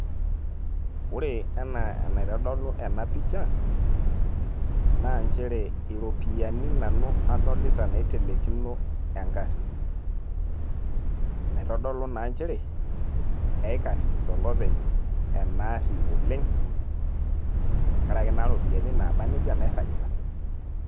Ore enaa enaitodolu ena picha, na njere iropiyiani nanu adolita naitelekino egarri. Naitodolu naa njere, ekarsis olopeny enaarri oleng',enkaraki naa ropiyaiani naaba nejia nairragita.